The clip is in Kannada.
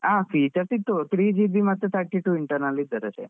ಹಾ features ಸಿಗ್ತದೆ three GB ಮತ್ತೆ thirty two internal ಸಿಗ್ತದೆ.